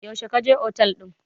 Yaushe ka otel ɗin?